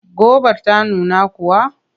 Gobar ta nuna kuwa?